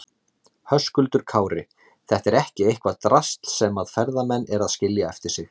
Höskuldur Kári: Þetta er ekki eitthvað drasl sem að ferðamenn eru að skilja eftir sig?